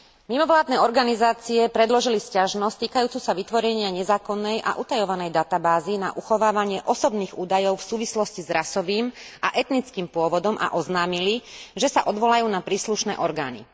Mimovládne organizácie predložili sťažnosť týkajúcu sa vytvorenia nezákonnej a utajovanej databázy na uchovávanie osobných údajov v súvislosti s rasovým a etnickým pôvodom a oznámili, že sa odvolajú na príslušné orgány.